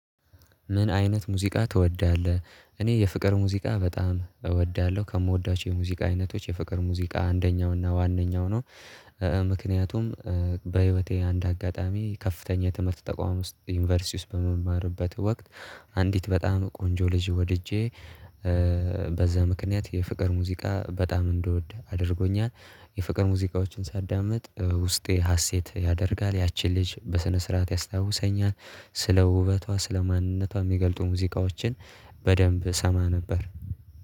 ምን አይነት ሙዚቃ ትወዳለህ? እኔ የፍቅር ሙዚቃ በጣም እወዳለሁ ከምወዳቸው የሙዚቃ አይነቶች የፍቅር ሙዚቃ አንደኛው እና ዋነኛው ነው። ምክንያቱም በህይወቴ አንድ አጋጣሚ ከፍተኛ ትምህርት ተቋም ውስጥ ዩኒቨርሲቲ ውስጥ በምማርበት ወቅት አንዲት በጣም ቆንጆ ልጅ ወድጄ በዛ ምክንያት የፍቅር ሙዚቃ በጣም እንድወድ አድርጎኛል። የፍቅር ሙዚቃዎችን ሳዳምጥ ውስጤ ሀሴት ያደርጋል ያቺን ልጅ በስነ ስርዓት ያስታውሰኛል ስለ ውበቷ ስለ ማንነቷ የሚገልጡ ሙዚቃዎችን። በደንብ እሰማ ነበር።